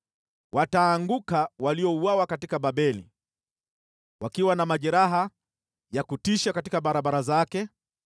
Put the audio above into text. Wataanguka waliouawa katika Babeli, wakiwa na majeraha ya kutisha barabarani zake.